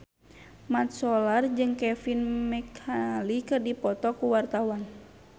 Mat Solar jeung Kevin McNally keur dipoto ku wartawan